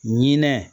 Ɲinɛ